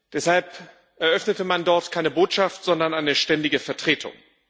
Deshalb eröffnete man dort keine Botschaft, sondern eine Ständige Vertretung.